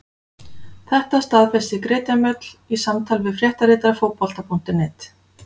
Þetta staðfesti Greta Mjöll í samtali við fréttaritara Fótbolta.net.